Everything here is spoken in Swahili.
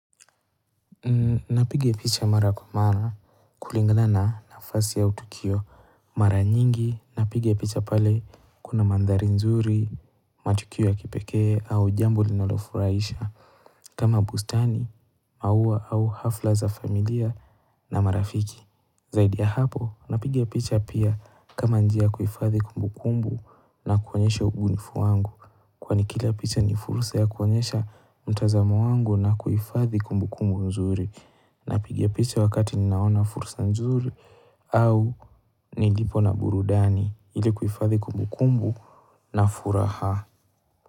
Napiga picha mara kwa mara kulingana na nafasi au tukio mara nyingi, napiga picha pale kuna mandhari nzuri, matukio ya kipekee au jambo linalofurahisha. Kama bustani, maua au hafla za familia na marafiki. Zaidi ya hapo, napiga picha pia kama njia ya kuhifadhi kumbu kumbu na kuonyesha ubunifu wangu. Kwani kila picha ni fursa ya kuonyesha mtazamo wangu na kuhifadhi kumbu kumbu nzuri. Napiga picha wakati ninaona fursa nzuri au nilipo na burudani. Ili kuhifadhi kumbukumbu na furaha.